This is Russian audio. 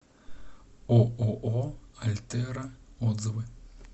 ооо альтера отзывы